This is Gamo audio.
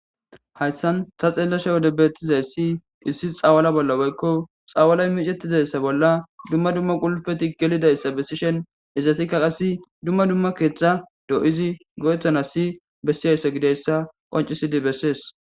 hayssan sa xeellasha wode beettizay si hissis xawala bolla boykko xawalay micettidayssa bolla dumma dumma qulpeti gelidayssa bessishen izatikka qassi dumma dumma keextha doo7izi go7ethana si bessiyayssa gideyssa qoncisidi bessees